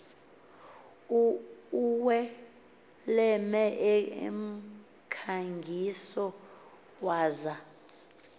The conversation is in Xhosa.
uwelem emkhangiso waza